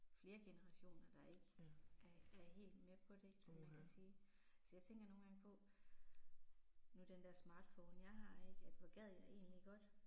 Flere generationer der ikke er er helt med på det som man kan sige. Så jeg tænker nogle gange på, nu den der smartphone jeg har ik, at hvor hvad jeg egentlig godt